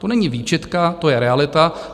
To není výčitka, to je realita.